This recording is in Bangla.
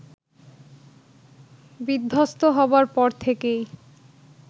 বিধ্বস্ত হবার পর থেকেই